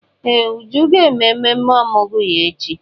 Ee! Uju ga-eme ememme ọmụgwọ ya echi.